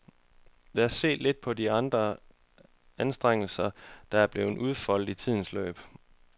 Lad os se lidt på de anstrengelser, der er blevet udfoldet i tidens forløb.